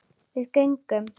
Við göngum